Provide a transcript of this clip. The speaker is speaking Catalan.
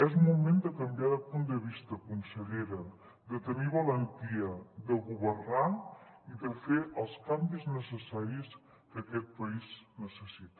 és moment de canviar de punt de vista consellera de tenir valentia de governar i de fer els canvis necessaris que aquest país necessita